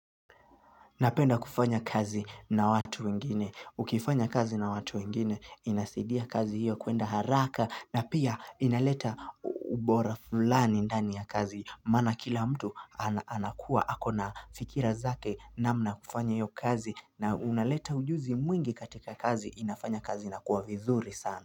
Napenda kufanya kazi na watu wengine, ukifanya kazi na watu wengine, inasidia kazi hiyo kuenda haraka na pia inaleta ubora fulani ndani ya kazi. Mana kila mtu anakuwa, ako na fikira zake na mna kufanya hiyo kazi na unaleta ujuzi mwingi katika kazi, inafanya kazi inakuwa vizuri sana.